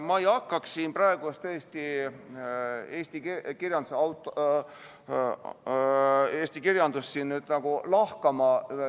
Ma ei hakkaks siin praegu tõesti eesti kirjandust lahkama.